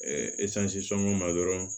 sɔngɔn ma dɔrɔn